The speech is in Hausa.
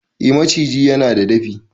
eh maciji yana da dafi